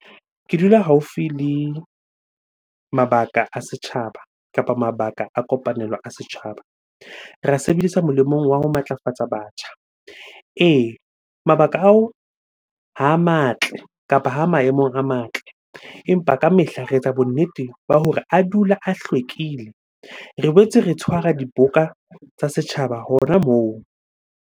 Ke dula haufi le mabaka a setjhaba kapa mabaka a kopanelo a setjhaba. Re a sebedisa molemong wa ho matlafatsa batjha. Ee, mabaka ao ha a matle kapa ha maemong a matle. Empa ka mehla re etsa bonnete ba hore a dula a hlwekile. Re boetse re tshwara dibuka tsa setjhaba hona moo.